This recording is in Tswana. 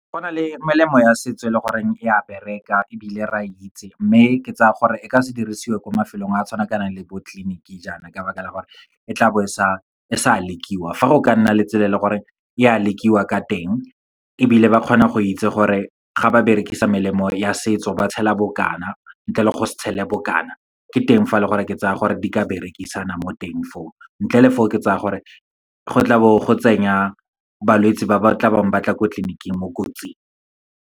Go na le melemo ya setso e leng gore e a bereka ebile re a itse, mme ke tsaya gore e ka se dirisiwe ko mafelong a tshwanakanang le bo tleliniki jaana, ka baka la gore e tla bo e sa lekiwa. Fa go ka nna le tsela e leng gore e a lekiwa ka teng, ebile ba kgona go itse gore ga ba berekisa melemo ya setso, ba tshela bokana, ntle le go se tshele bokana. Ke teng fa e leng gore, ke tsa gore di ka berekisana mo teng fo, ntle le fo, ke tsaya gore go tla bo go tsenya balwetsi ba ba tlang ko tleliniking mo kotsing.